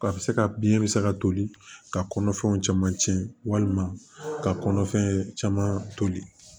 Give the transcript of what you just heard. A bɛ se ka biɲɛ bɛ se ka toli ka kɔnɔfɛnw caman tiɲɛ walima ka kɔnɔfɛn caman toli